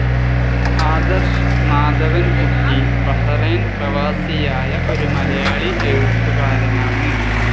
Adarsh Madhavankutty Bahrain പ്രവാസിയായ ഒരു മലയാളി എഴുത്തുകാരനാണ്.